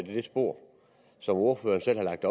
i det spor som ordføreren selv har lagt